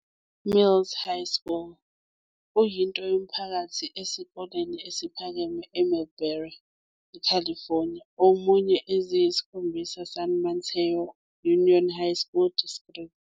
Mills High School kuyinto yomphakathi esikoleni esiphakeme e Millbrae, California, omunye eziyisikhombisa San Mateo Union High School District.